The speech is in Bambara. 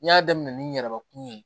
N y'a daminɛ ni n yɛrɛbakun ye